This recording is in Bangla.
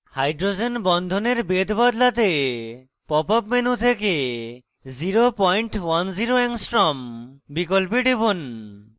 hydrogen বন্ধনের বেধ বদলাতে pop up menu থেকে 010 a বিকল্পে টিপুন